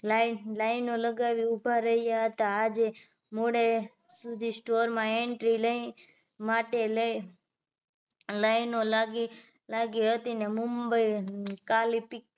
Line line નો લગાવી ઊભા રહ્યા હતા આજે મોડે સુધી store માં entry લઈ માટે લઈ line નો લાગી લાગી હતી ને મુંબઈ કાલીપિક